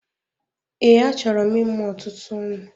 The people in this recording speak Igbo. Ee, a chọrọ m ịmụ ọtụtụ ụmụ